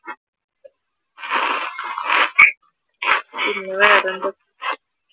പിന്നെ വേറെന്താ?